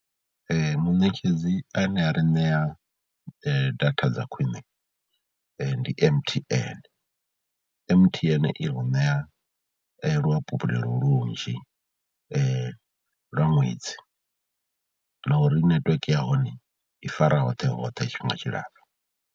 Munetshedzi ane a ri ṋea data dza khwiṋe ndi M_T_N, M_T_N i u ṋea luhafhulelo lunzhi lwa ṅwedzi na uri netiweke ya hone i fara hoṱhe hoṱhe tshifhinga tshilapfhu.